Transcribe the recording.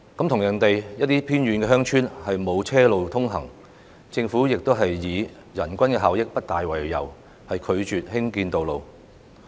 同樣地，有些偏遠鄉村沒有車路通行，政府也是以人均效益不大為由，拒絕興建道路。